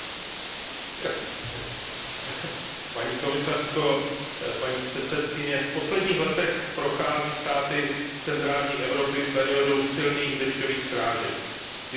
Paní předsedající, v posledních letech prochází státy centrální Evropy periodou silných dešťových srážek. Ty způsobují často velmi dramatické záplavy.